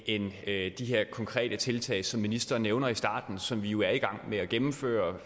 end de her konkrete tiltag som ministeren nævner i starten som vi jo er i gang med at gennemføre